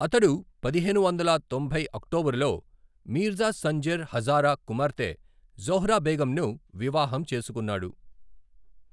అతడు పదిహేను వందల తొంభై అక్టోబరులో మీర్జా సంజర్ హజారా కుమార్తె జోహ్రా బేగంను వివాహం చేసుకున్నాడు.